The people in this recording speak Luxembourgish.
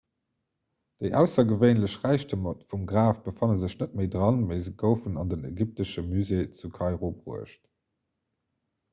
déi aussergewéinlech räichtemer vum graf befanne sech net méi dran mee se goufen an den ägyptesche musée zu kairo bruecht